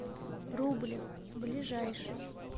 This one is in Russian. рублев ближайший